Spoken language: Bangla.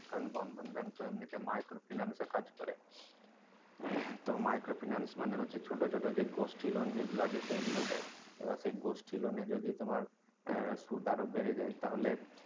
কারন বন্ধন bank এমনিতে micro finance এর কাজ করে তো micro finance মানে হচ্ছে যে ছোট ছোট গোষ্ঠী loan আছে সেগুলো দেয় এবার সে গোষ্ঠী loan এ যদি তোমার সুদ আরো বেড়ে যায় তাহলে